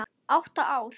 Átta ára.